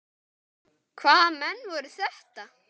Hvaða menn voru þetta.